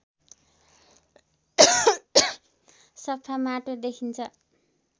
सफा माटो देखिन्छ